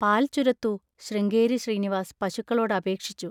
പാൽ ചുരത്തൂ, ശൃംഗേരി ശ്രീനിവാസ് പശുക്കളോടപേക്ഷിച്ചു.